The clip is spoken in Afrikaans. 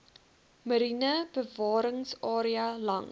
mariene bewaringsarea langs